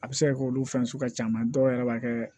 A bɛ se ka kɛ olu fɛn sugu ka can dɔw yɛrɛ b'a kɛ